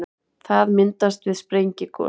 það myndast við sprengigos